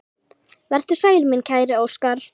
Vertu sæll, minn kæri Óskar.